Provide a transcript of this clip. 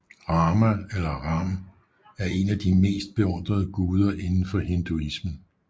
Rama eller Ram er en af de mest beundrede guder inden for hinduismen